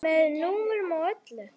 Með númerum og öllu.